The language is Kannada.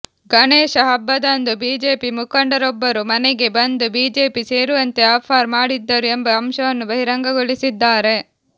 ಗಣೇಶ ಹಬ್ಬದಂದು ಬಿಜೆಪಿ ಮುಖಂಡರೊಬ್ಬರು ಮನೆಗೆ ಬಂದು ಬಿಜೆಪಿ ಸೇರುವಂತೆ ಆಫರ್ ಮಾಡಿದ್ದರು ಎಂಬ ಅಂಶವನ್ನು ಬಹಿರಂಗಗೊಳಿಸಿದ್ದಾರೆ